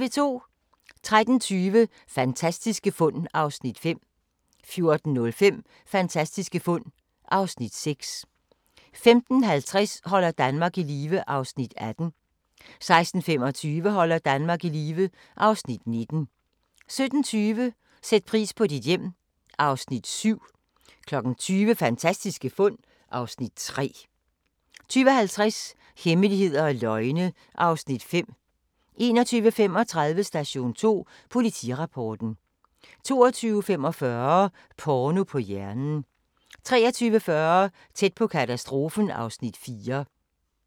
13:20: Fantastiske fund (Afs. 5) 14:05: Fantastiske fund (Afs. 6) 15:50: Holder Danmark i live (Afs. 18) 16:25: Holder Danmark i live (Afs. 19) 17:20: Sæt pris på dit hjem (Afs. 7) 20:00: Fantastiske fund (Afs. 3) 20:50: Hemmeligheder og løgne (Afs. 5) 21:35: Station 2 Politirapporten 22:45: Porno på hjernen 23:40: Tæt på katastrofen (Afs. 4)